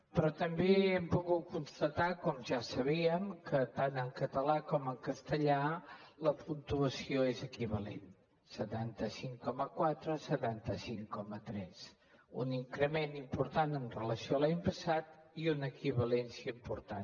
però també hem pogut constatar com ja ho sabíem que tant en català com en castellà la puntuació és equivalent setanta cinc coma quatre setanta cinc coma tres un increment important en relació amb l’any passat i una equivalència important